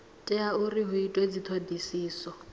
tea uri hu itwe dzithodisiso